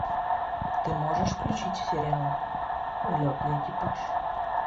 ты можешь включить сериал улетный экипаж